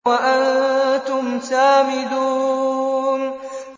وَأَنتُمْ سَامِدُونَ